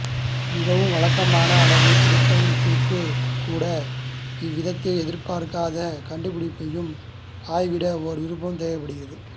மிக வழக்கமான அளவுத்திருத்தத்திற்கு கூட எவ்வித எதிர்பார்க்காத கண்டுபிடிப்பையும் ஆய்விட ஒரு விருப்பம் தேவைப்படுகிறது